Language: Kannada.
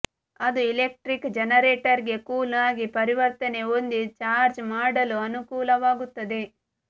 ಅದು ಇಲೆಕ್ಟ್ರಿಕ್ ಜೆನೆರೇಟರ್ಗೆ ಕೂಲ್ ಆಗಿ ಪರಿವರ್ತನೆ ಹೊಂದಿ ಚಾರ್ಜ್ ಮಾಡಲು ಅನುಕೂಲವಾಗುತ್ತದೆ